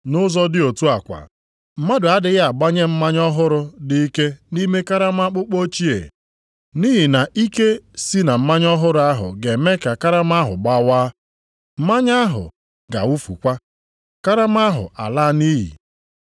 Nʼụzọ dị otu a kwa, mmadụ adịghị agbanye mmanya ọhụrụ dị ike nʼime karama akpụkpọ ochie. Nʼihi na ike si na mmanya ọhụrụ ahụ ga-eme ka karama ahụ gbawaa. Mmanya ahụ ga-awụfukwa, karama ahụ a laa nʼiyi.